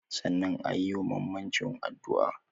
Sannan ayi wa mamacin addua